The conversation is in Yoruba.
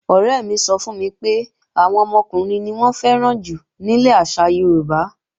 Ọ̀rẹ́ mi sọ fún mi pé, àwọn ọmọkùnrin ni wọ́n fẹ́ràn jù nílẹ̀ àṣà Yorùbá